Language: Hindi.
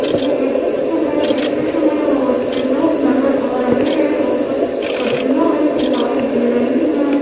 मुझे एक चित्र में इस चित्र में बहोत से लोग नज़र आ रहे हैं और कुछ पटलियां भी दिखाई दे रही हैं।